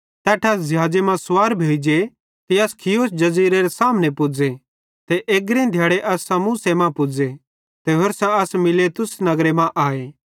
तैट्ठां असां ज़िहाज़े मां सुवार भोइ जे ते अस खियुस जज़ीरेरे सामने पुज़े ते अग्रीं दिहाड़े असां सामुसे मां पुज़े ते होरसां अस मीलेतुस नगरे मां आए